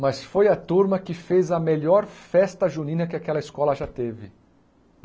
Mas foi a turma que fez a melhor festa junina que aquela escola já teve.